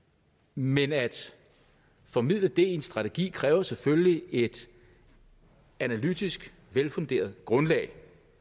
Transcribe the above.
men at formidle det i en strategi kræver selvfølgelig et analytisk velfunderet grundlag